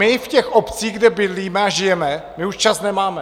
My v těch obcích, kde bydlíme a žijeme, my už čas nemáme.